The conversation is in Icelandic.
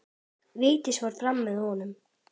Vigdís fór fram með honum.